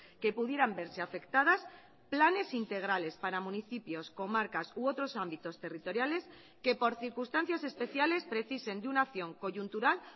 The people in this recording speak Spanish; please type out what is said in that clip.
que pudieran verse afectadas planes integrales para municipios comarcas u otros ámbitos territoriales que por circunstancias especiales precisen de una acción coyuntural